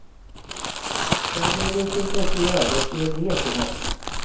Jag blev lite intresserad och skrev brev till honom.